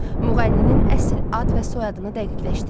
Müğənninin əsl ad və soyadını dəqiqləşdirin.